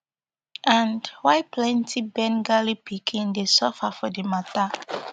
and why plenty bengali pikin dey suffer for di matter